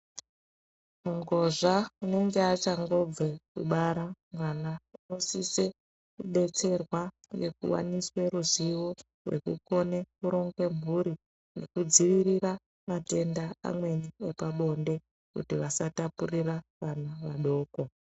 Mungozva unenge achangobve kubara mwana unosise kudetserwa ngekuwaniswe ruzivo rekukone kuronge mhuri nekudzivirira matenda amweni epabonde kuti vasatapurira vana vadoko.